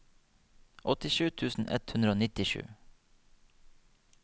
åttisju tusen ett hundre og nittisju